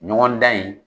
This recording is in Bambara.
Ɲɔgɔn dan in